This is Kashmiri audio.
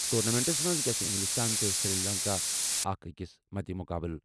ٹورنامنٹَس منٛز گَژھِ اِنٛگلِستان تہٕ سری لنکا اَکھ أکِس مدِ مُقابلہٕ۔